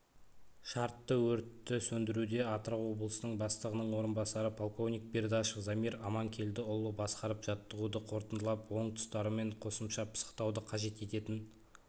шартты өртті сөндіруде атырау облысының бастығының орынбасары полковник бердашев замир аманкелдіұлы басқарып жаттығуды қорытындылап оң тұстары мен қосымша пысықтауды қажет ететін